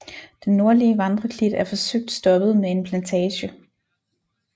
Den nordlige vandreklit er forsøgt stoppet med en plantage